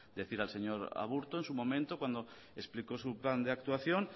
decir al señor aburto en su momento cuando explicó su plan de actuación